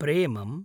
प्रेमम्